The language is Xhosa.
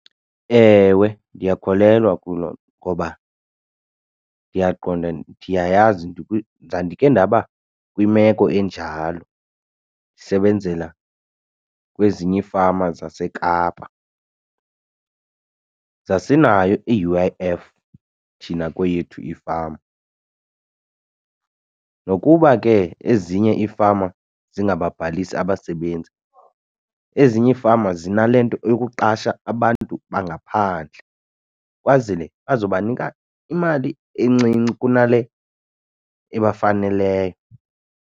Ewe, ndiyakholelwa kulo ngoba ndiyaqonda ndiyayazi ndandikhe ndaba kwimeko enjalo ndisebenzela kwezinye iifama zaseKapa. Zasinayo i-U_I_F thina kweyethu ifama, nokuba ke ezinye ifama zingababhalisi abasebenzi, ezinye ifama zinale nto yokuqasha abantu bangaphandle kwazele bazobanika imali encinci kunale ebafaneleyo.